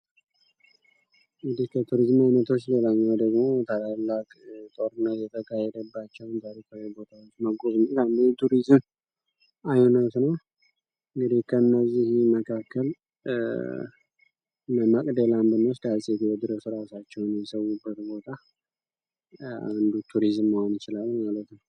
እንግዲህ ከቱሪዝም አይነቶች ሌላኛው ደግሞ ታላላቅ ጦርነቶች የተካሄደባቸው መጎብኘት አንዱ የቱሪዝም አይነት ነው እንግዲህ ከነዚህ መካከል መቅደላ አንባን ብንወስድ ዐፄ ቴዎድሮስ እራሱ ራሳቸውን የሰዉበት ቦታ አንዱ ቱሪዝም መሆኑን ይችላል ማለት ነው።